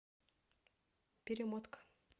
перемотка